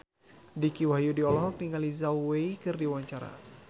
Dicky Wahyudi olohok ningali Zhao Wei keur diwawancara